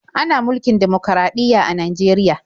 Ana mulkin dimokuraɗiyya a Najeriya.